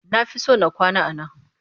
Na fi son na kwana a nan